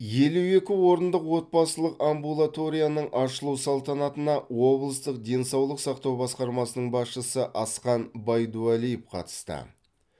елу екі орындық отбасылық амбулаторияның ашылу салтанатына облыстық денсаулық сақтау басқармасының басшысы асхан байдуәлиев қатысты